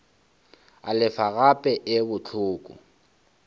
e lefa gape e bohloko